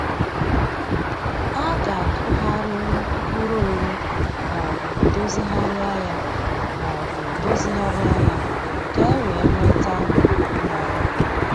A ga-akụgharịnwu mkpụrụ owu maobụ dozigharịa ya maobụ dozigharịa ya ka e wee nweta mmanụ